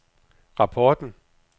rapporten